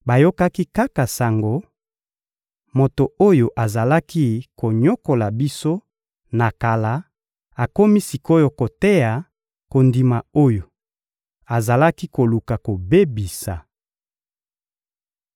bayokaki kaka sango: «Moto oyo azalaki konyokola biso na kala akomi sik’oyo koteya kondima oyo azalaki koluka kobebisa.»